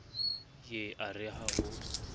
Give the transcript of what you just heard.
ye a re ha ho